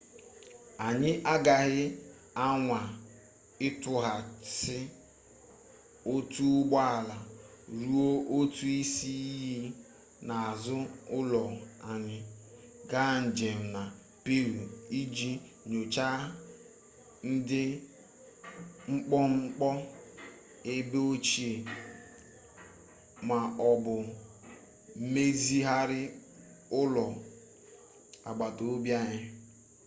anyị agaghị anwa ịtọpụghasị otu ụgbọ ala rụọ otu isi iyi n'azụ ụlọ anyị gaa njem na peru iji nyochaa ndị mkpọmkpọ ebe ochie ma ọ bụ mezigharịa ụlọ agbatobi anyị